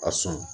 A sɔn